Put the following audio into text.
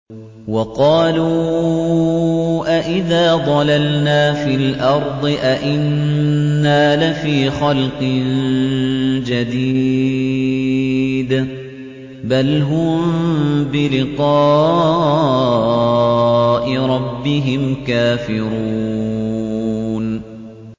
وَقَالُوا أَإِذَا ضَلَلْنَا فِي الْأَرْضِ أَإِنَّا لَفِي خَلْقٍ جَدِيدٍ ۚ بَلْ هُم بِلِقَاءِ رَبِّهِمْ كَافِرُونَ